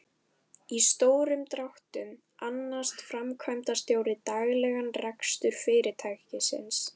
Í stórum dráttum annast framkvæmdastjóri daglegan rekstur fyrirtækisins.